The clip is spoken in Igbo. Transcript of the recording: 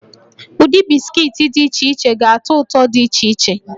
Ụdị bisikiiti dị iche iche ga-atọ ụtọ dị iche iche